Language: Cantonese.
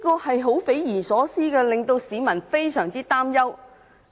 這種事情匪夷所思，令市民非常擔憂。